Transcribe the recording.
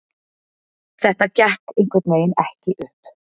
Þetta gekk einhvernveginn ekki upp.